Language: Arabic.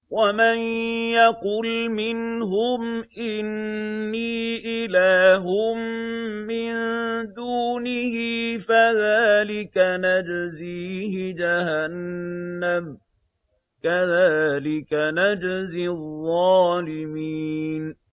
۞ وَمَن يَقُلْ مِنْهُمْ إِنِّي إِلَٰهٌ مِّن دُونِهِ فَذَٰلِكَ نَجْزِيهِ جَهَنَّمَ ۚ كَذَٰلِكَ نَجْزِي الظَّالِمِينَ